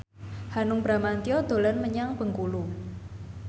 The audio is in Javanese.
Hanung Bramantyo dolan menyang Bengkulu